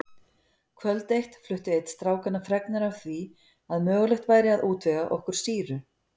Kvöld eitt flutti einn strákanna fregnir af því að mögulegt væri að útvega okkur sýru.